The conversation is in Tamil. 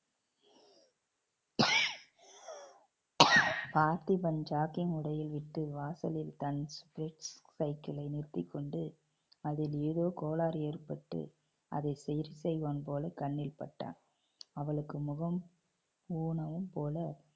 பார்த்திபன் jogging வாசலில் தன் cycle ஐ நிறுத்திக்கொண்டு அதில் ஏதோ கோளாறு ஏற்பட்டு அதை சீர் செய்வான் போல கண்ணில் பட்டான். அவளுக்கு முகம் போல